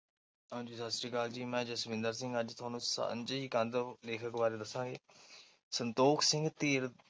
ਹਾਂਜੀ, ਮੈਂ ਜਸਵਿੰਦਰ ਸਿੰਘ ਅੱਜ ਤੁਹਾਨੂੰ ਸਾਂਝੀ ਕੰਧ ਲੇਖਕ ਬਾਰੇ ਦਸਾਗੇ ਸੰਤੋਖ ਸਿੰਘ ਧੀਰ।